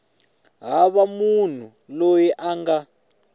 hava munhu loyi a nga